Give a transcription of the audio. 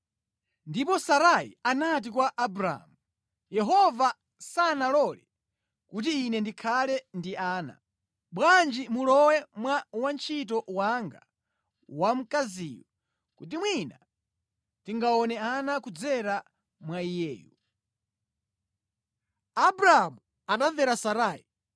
ndipo Sarai anati kwa Abramu, “Yehova sanalole kuti ine ndikhale ndi ana. Bwanji mulowe mwa wantchito wanga wamkaziyu kuti mwina ndingaone ana kudzera mwa iyeyu.” Abramu anamvera Sarai.